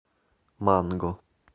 манго